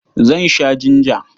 Zan sha jinja.